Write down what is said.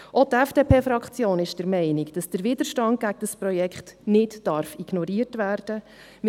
Auch die FDP-Fraktion ist der Meinung, dass der Widerstand gegen das Projekt nicht ignoriert werden darf.